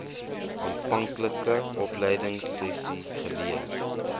aanvanklike opleidingsessies geleer